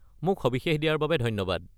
মোক সবিশেষ দিয়াৰ বাবে ধন্যবাদ।